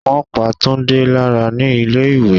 Wọn pá Tunde láyà ní ilé ìwé.